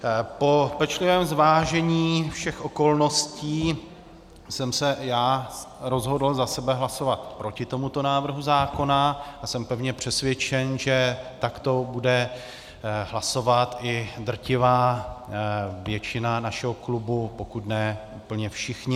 Po pečlivém zvážení všech okolností jsem se já rozhodl za sebe hlasovat proti tomuto návrhu zákona a jsem pevně přesvědčen, že takto bude hlasovat i drtivá většina našeho klubu, pokud ne úplně všichni.